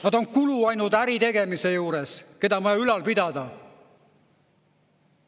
Nad on kulu ainult äritegemise juures, keda on vaja ülal pidada.